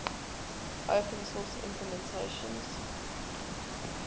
open source implementations